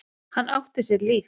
Hann átti sér líf.